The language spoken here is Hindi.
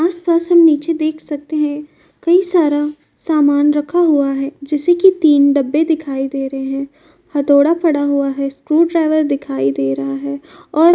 आस-पास हम नीचे देख सकते हैं कई सारा समान रक्खा हुआ है जैसे कि तीन डब्बे दिखाई दे रहे हैं हथोड़ा पड़ा हुआ है स्क्रू ड्राइवर दिखाई दे रहा है और --